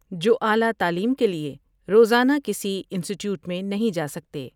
جو اعلی تعلیم کے لئے روز آنہ کسی انسٹیٹیوٹ میں نہیں جا سکتے ۔